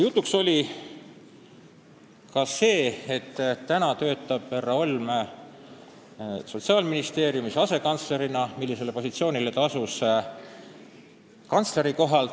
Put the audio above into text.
Jutuks oli ka see, et praegu töötab härra Holm Sotsiaalministeeriumis asekantslerina ja sellele ametipositsioonile asus ta kantsleri kohalt.